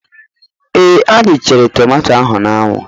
Ee, anyị na chere tomato ahụ n'anwu